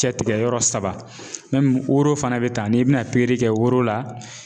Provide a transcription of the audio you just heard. Cɛ tigɛ yɔrɔ saba woro fana bɛ tan n'i bɛna pikiri kɛ woro la